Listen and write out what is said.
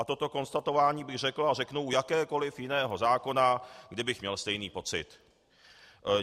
A toto konstatování bych řekl a řeknu u jakéhokoliv jiného zákona, kdybych měl stejný pocit.